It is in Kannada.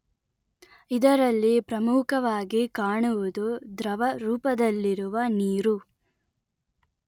ಇದರಲ್ಲಿ ಪ್ರಮುಖವಾಗಿ ಕಾಣುವುದು ದ್ರವ ರೂಪದಲ್ಲಿರುವ ನೀರು